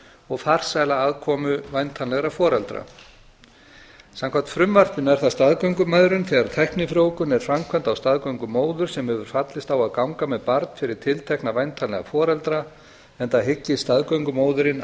og farsæla aðkomu væntanlegra foreldra samkvæmt frumvarpinu er það staðgöngumæðrun þegar tæknifrjóvgun er framkvæmd á staðgöngumóður sem hefur fallist á að ganga með barn fyrir tiltekna væntanlega foreldra enda hyggist staðgöngumóðirin